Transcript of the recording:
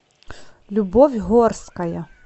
любовь горская